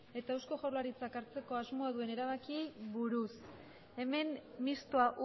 eta eusko jaurlaritzak hartzeko asmoa duen erabakiei buruz hemen mistoa